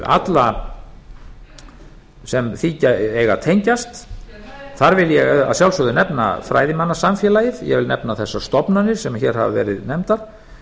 alla sem því eiga að tengjast þar vil ég að sjálfsögðu nefna fræðimannasamfélagið ég vil nefna þessar stofnanir sem hér hafa verið nefndar